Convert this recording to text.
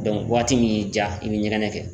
Dɔnku waati min y'i ja i bi ɲɛgɛnɛ kɛ